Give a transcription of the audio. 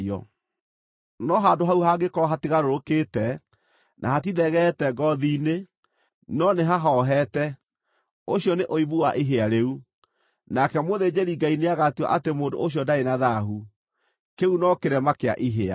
No handũ hau hangĩkorwo hatigarũrũkĩte, na hatithegeete ngoothi-inĩ, no nĩhahohete, ũcio nĩ ũimbu wa ihĩa rĩu, nake mũthĩnjĩri-Ngai nĩagatua atĩ mũndũ ũcio ndarĩ na thaahu; kĩu no kĩrema kĩa ihĩa.